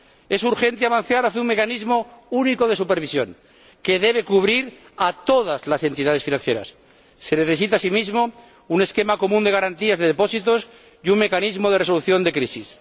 Es urgente avanzar hacia un mecanismo único de supervisión, que debe cubrir a todas las entidades financieras. Se necesita, asimismo, un esquema común de garantías de depósitos y un mecanismo de resolución de crisis.